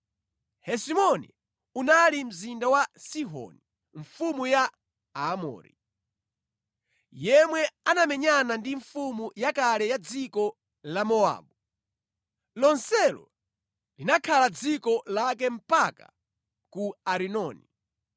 Hesiboni unali mzinda wa Sihoni mfumu ya Aamori, yemwe anamenyana ndi mfumu yakale ya dziko la Mowabu. Lonselo linakhala dziko lake mpaka ku Arinoni.